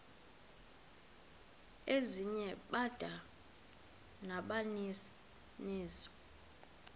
ezinye bada nabaninizo